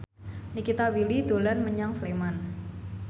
Nikita Willy dolan menyang Sleman